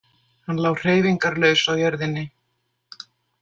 Hann lá hreyfingarlaus á jörðinni.